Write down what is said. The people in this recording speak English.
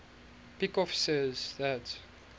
peikoff says that